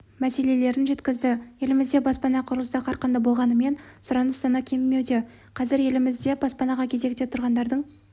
мәселелерін жеткізді елімізде баспана құрылысы қарқынды болғанымен сұраныс саны кемімеуде қазір елімізде баспанаға кезекте тұрғандардың